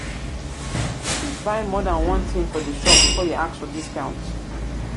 you fit buy more than one thing for di shop before you ask for discount